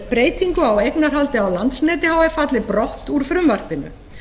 breytingu á eignarhaldi á landsneti h f falli brott úr frumvarpinu